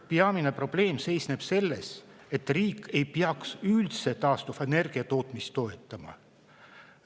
Peamine probleem seisneb selles, et riik ei peaks üldse taastuvenergia tootmist toetama.